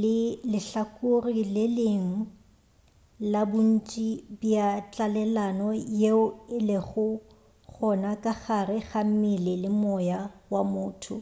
le lehlakore le lengwe la bontši bja tlalelano yeo e lego gona ka gare ga mmele le moya wa motho